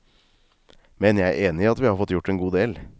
Men jeg er enig i at vi har fått gjort en god del.